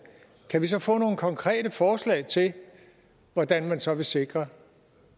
kan vi så få nogle konkrete forslag til hvordan man så vil sikre